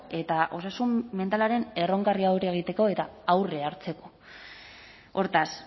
eta osasun mentalaren erronkari aurre egiteko eta aurre hartzeko hortaz